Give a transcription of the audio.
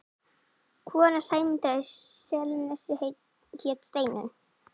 Kona Sæmundar í Selnesi hét Steinunn.